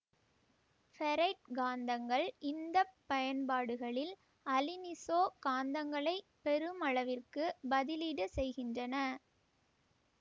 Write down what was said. ferrite காந்தங்கள் இந்த பயன்பாடுகளில் அலினிசோ காந்தங்களை பெருமளவிற்கு பதிலீடு செய்கின்றன